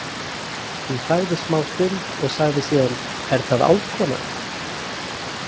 Hún þagði smástund og sagði síðan: Er það álfkona?